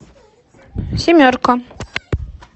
семерка